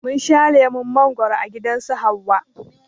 Mun sha lemon mangwaro a gidan su Hauwa